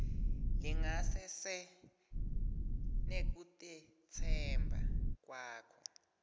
lingasese nekutetsemba kwakho